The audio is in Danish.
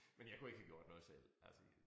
Men jeg kunne ikke have gjort noget selv altså jeg